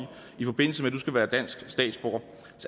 i forbindelse med at du skal være dansk statsborger